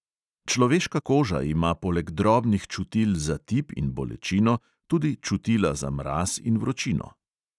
Človeška koža ima poleg drobnih čutil za tip in bolečino tudi čutila za mraz in vročino.